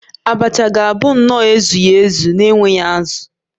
Abacha ga-abụ nnọọ ezughị ezu na-enweghị azụ